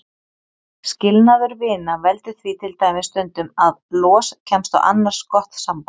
Skilnaður vina veldur því til dæmis stundum að los kemst á annars gott samband.